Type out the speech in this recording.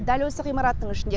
дәл осы ғимараттың ішінде